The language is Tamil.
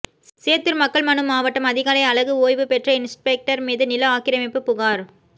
சேத்தூர் மக்கள் மனு மாவட்டம் அதிகாலை அழகு ஓய்வுபெற்ற இன்ஸ்பெக்டர் மீது நில ஆக்கிரமிப்பு புகார்